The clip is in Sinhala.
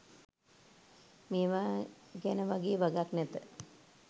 මේවා ගැන වගේ වගක් නැත.